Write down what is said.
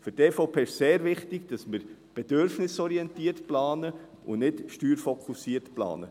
Für die EVP ist es sehr wichtig, dass wir bedürfnisorientiert planen und nicht steuerfokussiert planen.